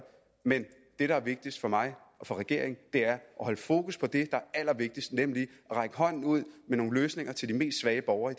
men det der er vigtigt for mig og for regeringen er at holde fokus på det der er allervigtigst nemlig at række hånden ude med nogle løsninger til de mest svage borgere